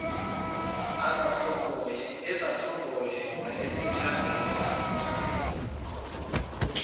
ezasongoye wayezithandela oncamunce